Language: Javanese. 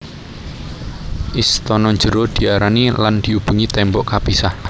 Istana jero diarani lan diubengi tembok kapisah